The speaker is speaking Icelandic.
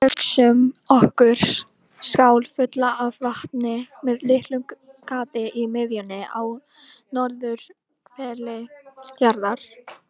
Hugsum okkur skál fulla af vatni með litlu gati í miðjunni á norðurhveli jarðar.